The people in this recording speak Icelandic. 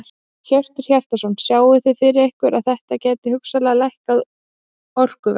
Hjörtur Hjartarson: Sjáið þið fyrir ykkur að þetta gæti hugsanlega lækkað orkuverð?